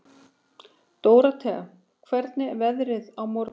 Dórótea, hvernig er veðrið á morgun?